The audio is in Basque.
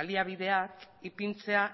baliabideak ipintzea